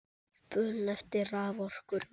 Spurn eftir raforku er mikil.